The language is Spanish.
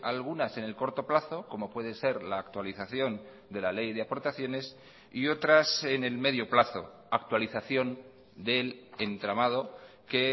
algunas en el corto plazo como puede ser la actualización de la ley de aportaciones y otras en el medio plazo actualización del entramado que